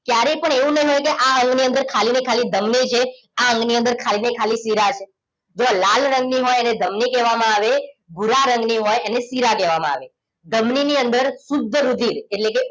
ક્યારે પણ એવું ન્હોય કે આ અંગની અંદર ખાલી ને ખાલી ધમની છે આ અંગની અંદર ખાલી ને ખાલી શીરા છે જો લાલ રંગની હોય એને ધમની કેવા માં આવે ભૂરા રંગ ની હોય એને શીરા કેવામાં આવે ધમની ની અંદર શુદ્ધ રુધિર એટલેકે